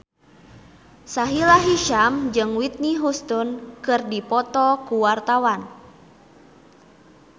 Sahila Hisyam jeung Whitney Houston keur dipoto ku wartawan